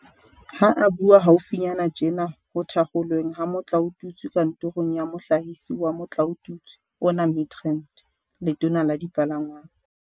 Ha a bua haufinyana tjena ho thakgolweng ha motlaotutswe kantorong ya Mohlahisi wa motlaotutswe ona Midrand, Letona la Dipalangwang